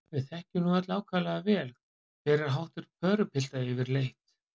Við þekkjum nú öll ákaflega vel, hver er háttur pörupilta yfirleitt.